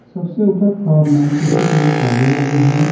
सबसे ऊपर फ्लोर में सी_सी_टी_वी कैमरे लगे हैं।